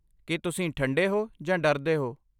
ਕੀ ਤੁਸੀਂ ਠੰਡੇ ਹੋ ਜਾਂ ਡਰਦੇ ਹੋ?